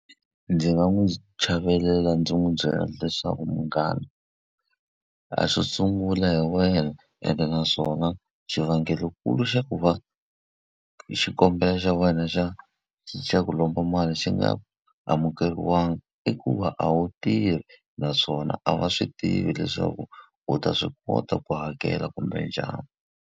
Ndzi nga n'wi chavelela ndzi n'wi byela leswaku munghana a swo sungula hi wena, ene naswona xivangelonkulu xa ku va xikombelo xa xa wena xa xa ku lomba mali xi nga amukeriwangi i ku va a wu tirhi. Naswona a va swi tivi leswaku u ta swi kota ku hakela kumbe njhani.